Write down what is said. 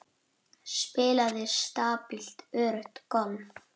Spilaði stabílt öruggt golf.